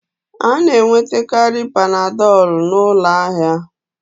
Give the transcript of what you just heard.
A na-enwetakarị Panadolu n'ụlọ ahịa